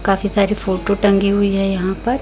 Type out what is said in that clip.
काफी सारी फोटो टंगी हुई है यहां पर।